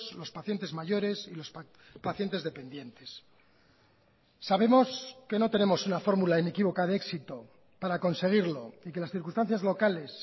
los pacientes mayores y los pacientes dependientes sabemos que no tenemos una fórmula inequívoca de éxito para conseguirlo y que las circunstancias locales